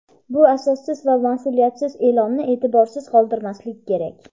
Bu asossiz va masʼuliyatsiz eʼlonni eʼtiborsiz qoldirmaslik kerak.